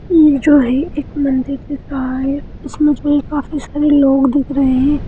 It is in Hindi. ये जो है एक मंदिर दिख रहा है उसमे जो है ये काफी सारे लोग दिख रहे हैं।